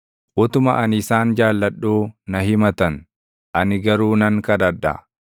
Utuma ani isaan jaalladhuu na himatan; ani garuu nan kadhadha.